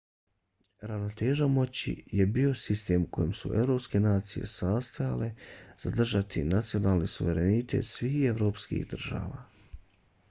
ravnoteža moći je bio sistem u kojem su evropske nacije nastojale zadržati nacionalni suverenitet svih evropskih država